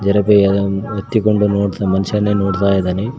ದ್ರವಯದಂ ಎತ್ತಿಕೊಂಡು ಮನುಷ್ಯನೇ ನೋಡ್ತಾ ಇದ್ದಾನೆ.